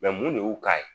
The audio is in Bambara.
mun de y'u k'a ye